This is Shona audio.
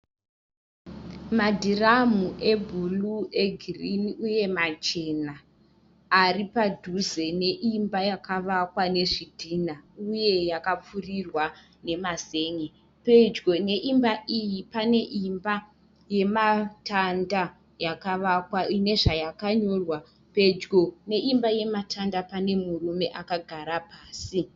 Madhirimu ebhuruu, egirini uye machena aripadhuze neimba yakavakwa nezvitina uye yakapfurirwa nemazen'e. Pedyo neimba iyi paneimba yematanda yakavakwa inezvayakanyorwa. Pedyo neimba yematanda pane murume akagara pasi.